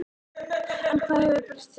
En hvað hefur breyst síðan þá?